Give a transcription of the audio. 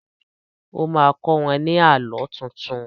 O má kọ́ wọ́n ní Àlọ́ tuntun